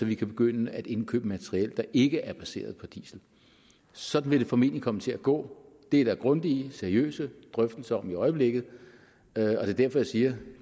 vi kan begynde at indkøbe materiel der ikke er baseret på diesel sådan vil det formentlig komme til at gå det er der grundige seriøse drøftelser om i øjeblikket det er derfor jeg siger